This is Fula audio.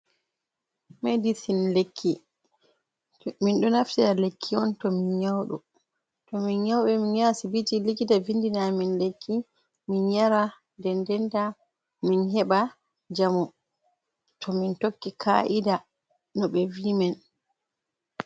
Medicin lekki, minɗon naftira lekki on to min nyawɗo to min nyawɓe min yaha asibiti likita vindina min lekki min yara nden ndenta min heɓa njamu, to min tokki ka’ida no ɓe vi min.